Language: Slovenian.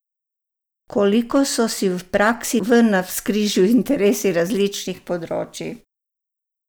Koliko so si v praksi v navzkrižju interesi različnih področij?